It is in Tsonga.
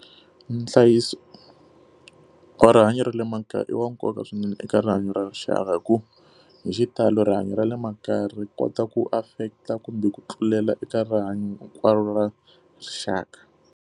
Nhlayiso wa rihanyo ra le makaya i wa nkoka swinene eka rihanyo ra rixaka hikuva hi xitalo rihanyo ra le makaya ri kota ku affect-a kumbe ku tlulela eka rihanyo hinkwaro ra rixaka.